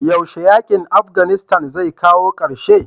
yaushe yakin Afghanistan zai kawo karshe?